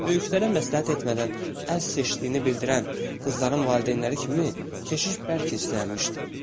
Böyüklərə məsləhət etmədən əz seçdiyini bildirən qızın valideynləri kimi keşiş bərk istənilmişdi.